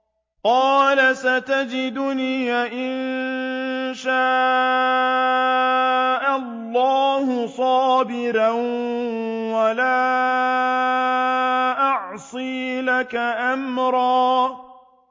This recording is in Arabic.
قَالَ سَتَجِدُنِي إِن شَاءَ اللَّهُ صَابِرًا وَلَا أَعْصِي لَكَ أَمْرًا